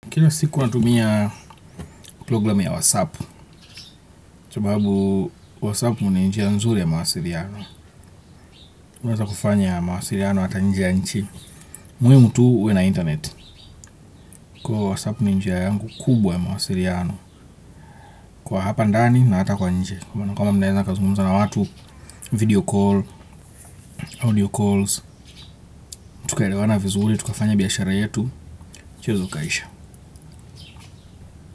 Kila siku natumia programu ya wasap sababu wasap ni njia nzuri ya mawasiriano. Unaweza kufanya mawasiliano hata nje ya nchi muhimu tu uwe na internet. Kwa wasap ni njia yangu kubwa ya mawasiriano. Kwa hapa ndani na hata kwa nje kuwa kwamba mnaweza mkazungumza na watu. Video call, audio calls. Tukaelewana vizuri, tukafanya biashara yetu mchezo ukaisha.